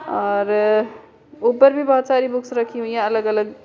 और अ ऊपर भी बहुत सारी बुक्स रखी हुई है अलग अलग।